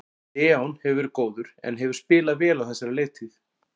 Leon hefur verið góður en hefur spilað vel á þessari leiktíð.